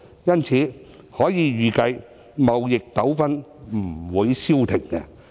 因此，可以預計，貿易糾紛不會消停。